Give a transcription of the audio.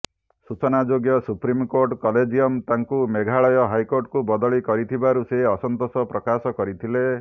ସୂଚନାଯୋଗ୍ୟ supreme court collegium ତାଙ୍କୁ ମେଘାଳୟ ହାଇକୋର୍ଟକୁ ବଦଳି କରିଥିବାରୁ ସେ ଅସନ୍ତୋଷ ପ୍ରକାଶ କରିଥିଲେ